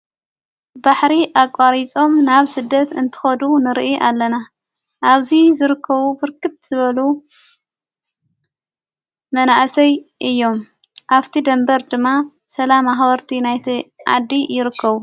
ባሕሪ ኣቋሪጾም ናብ ስደት እንትኸዱ ንርኢ ኣለና ኣብዙይ ዝርከዉ ፍርክት ዝበሉ መናእሰይ እዮም ኣፍቲ ደንበር ድማ ሰላም ኣኅወርቲ ናይቲ ዓዲ ይርከቡ።